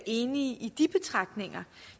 enige i de betragtninger